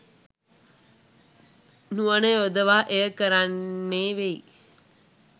නුවණ යොදවා එය කරන්නේ වෙයි